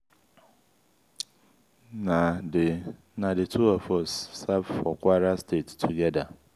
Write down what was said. na the na the two of us serve for kwara state together.